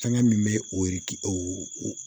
Fɛngɛ min bɛ oriki o